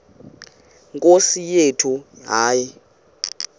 nkosi yethu hayi